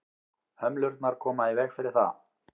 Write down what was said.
hömlurnar koma í veg fyrir það